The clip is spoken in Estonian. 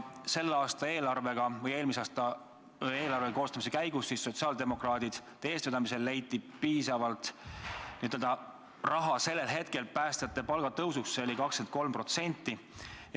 Eelmisel aastal eelarve koostamise käigus leiti sotsiaaldemokraatide eestvedamisel piisavalt raha päästjate palgatõusuks, see oli 23%.